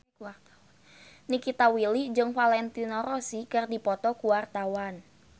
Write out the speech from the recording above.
Nikita Willy jeung Valentino Rossi keur dipoto ku wartawan